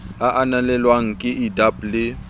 a ananelwang ke ldab le